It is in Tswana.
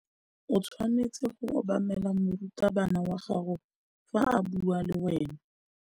O tshwanetse go obamela morutabana wa gago fa a bua le wena.